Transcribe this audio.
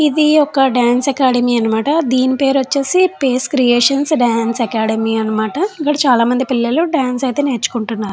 ఇది ఒక dance academy అన్నమాట. దీని పేరు వచ్చేసి పేస్ క్రియేషన్స్ డాన్స్ అకాడమీ అన్నమాట. ఇక్కడ చాలామంది పిల్లలు డాన్స్ అయితే నేర్చుకుంటున్నారు.